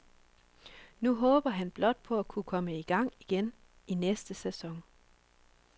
Nu håber han blot på at kunne komme i gang igen i næste sæson.